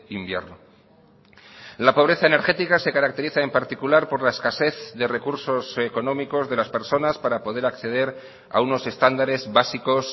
invierno la pobreza energética se caracteriza en particular por la escasez de recursos económicos de las personas para poder acceder a unos estándares básicos